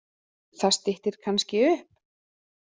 Það styttir kannski upp.